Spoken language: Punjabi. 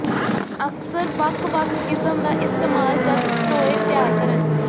ਅਕਸਰ ਵੱਖ ਵੱਖ ਕਿਸਮ ਦਾ ਇਸਤੇਮਾਲ ਜਦ ਟੋਏ ਤਿਆਰ ਕਰਨ